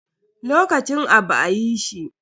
Lokacin abu a yi shi.